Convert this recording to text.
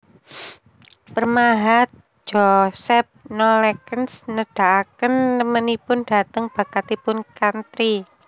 Pemahat Joseph Nollekens nedahaken remenipun dhateng bakatipun Chantrey